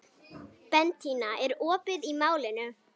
Bentína, er opið í Málinu?